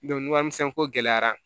ni warimisɛnko gɛlɛyara